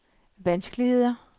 vanskeligheder